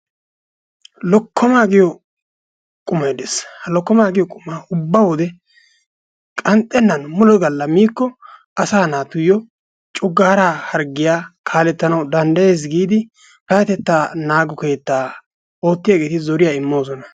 Lokkomaa giyo qumay dees. Ha lokkoma giyo qumaa ubba wode qanxxennan mule galla miikko asaa naatuyyo coggaaraa harggiya kaalettanawu danddayees giidi payyatettaa naago keettaa oottiyageeti zotiya immoosona.